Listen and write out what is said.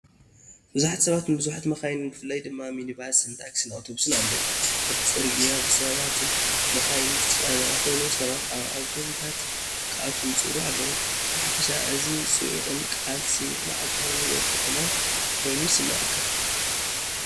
ብዙሓት ሰባትን ብዙሓት መካይንን ብፍላይ ድማ ሚኒባስን ታክሲን ኣውቶቡሳትን ኣለዉ። እቲ ጽርግያ ብሰባትን መካይንን ዝተጨናነቐ ኮይኑ ሰባት ኣብ ኣውቶቡሳት ክኣትዉ ይጽዕሩ ኣለዉ። ብሓፈሻ እዚ ጽዑቕን ቃልሲ መዓልታዊ ህይወት ከተማን ኮይኑ ይስምዓካ።